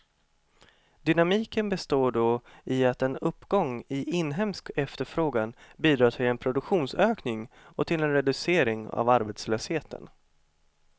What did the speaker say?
Dynamiken består då i att en uppgång i inhemsk efterfrågan bidrar till en produktionsökning och till en reducering av arbetslösheten.